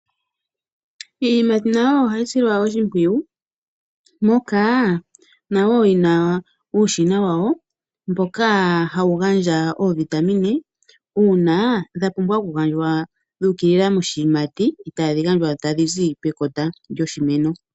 Iiyimati nayo ohayi silwa oshimpwiyu, nayo oyina uushina wayo wo kugandja ovitamine uuna dhapumbwa okugandjwa dhuukilila moshiyimati peha lyokuza pekota lyoshimeno.